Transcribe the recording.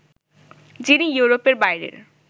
যিনি ইউরোপের বাইরের